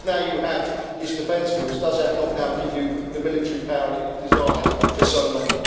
And now that you have this defence force, does that not now give you the military power that you've desired for so long?